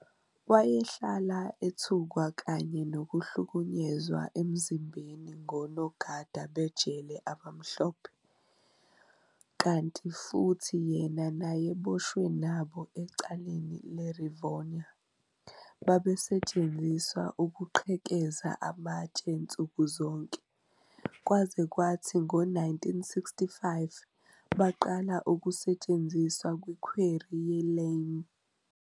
Wayehlala ethukwa kanye nokuhlukunyezwa emzimbeni ngonogada bejele abamhlophe, kanti futhi yena nayeboshwe nabo ecaleni le-Rivonia, babesetshenziswa ukuqhekeza amatshe nsuku zonke, kwaze kwathi ngo-1965 baqala ukusetshenziswa kwi-quarry ye-lime.